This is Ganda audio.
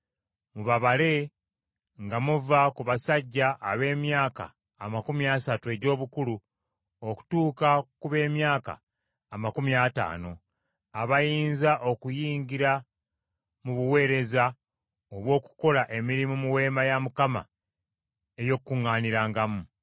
Mubabale nga muva ku basajja ab’emyaka amakumi asatu egy’obukulu okutuuka ku b’emyaka amakumi ataano, abayinza okuyingira mu buweereza obw’okukola emirimu mu Weema ey’Okukuŋŋaanirangamu.